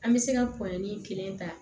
An bɛ se ka kɔnɔnin kelen ta